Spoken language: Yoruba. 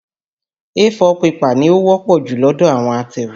A4 pẹ́pà ni ó wọ́pọ̀ jù lọ́dọ̀ àwọn atẹ̀wé.